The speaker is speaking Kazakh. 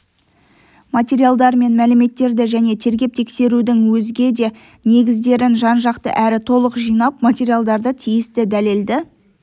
материалдар мен мәліметтерді және тергеп-тексерудң өзге де негіздерін жан-жақты әрі толық жинап материалдарды тиісті дәлелді